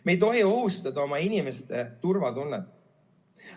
Me ei tohi ohustada oma inimeste turvatunnet.